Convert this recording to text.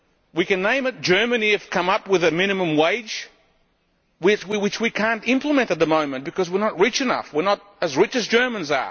We can name it Germany has come up with a minimum wage which we cannot implement at the moment because we are not rich enough we are not as rich as the Germans.